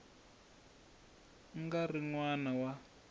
nga ri n wana wa